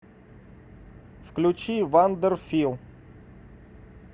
включи вандер фил